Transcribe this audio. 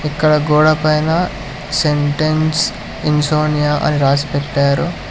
ఇక్కడ గోడ పైన సెంటెన్స్ ఇన్ సోనియా అని రాసిపెట్టారు.